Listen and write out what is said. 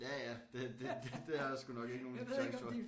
Ja ja det det det det har jeg sgu nok ikke nogen chance for